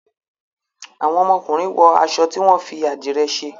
Àwọn ọmọkunrin wọ aṣọ tí wón fí adire ṣe